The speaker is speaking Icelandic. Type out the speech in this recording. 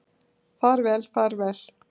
Far vel far vel.